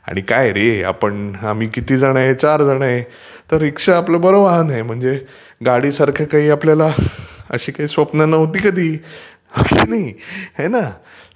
आणि काय रे आपण आम्ही किती जण आहे चार जण आहे. तर रीक्षा आपलं बरं वाहन आहे. गाडीसारखी आपल्याला अशी काही स्वप्न नव्हती कधी. हे ना!